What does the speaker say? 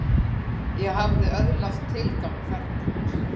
Ég hafði öðlast tilgang þarna.